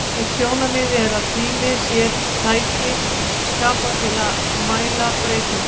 Eitt sjónarmiðið er að tími sé tæki skapað til að mæla breytingar.